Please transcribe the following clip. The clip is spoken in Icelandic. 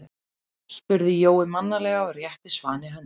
spurði Jói mannalega og rétti Svani höndina.